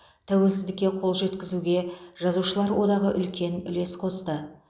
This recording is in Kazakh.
тәуелсіздікке қол жеткізуге жазушылар одағы үлкен үлес қосты